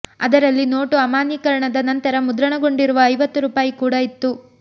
ಅದರಲ್ಲಿ ನೋಟು ಅಮಾನ್ಯೀಕರಣದ ನಂತರ ಮುದ್ರಣಗೊಂಡಿರುವ ಐವತ್ತು ರೂಪಾಯಿ ಕೂಡಾ ಇತ್ತು